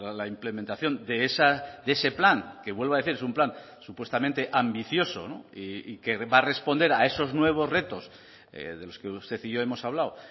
la implementación de ese plan que vuelvo a decir es un plan supuestamente ambicioso y que va a responder a esos nuevos retos de los que usted y yo hemos hablado